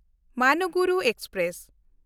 Manuguru express